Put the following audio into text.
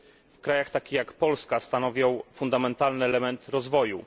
W krajach takich jak Polska stanowią fundamentalny element rozwoju.